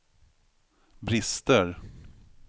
brister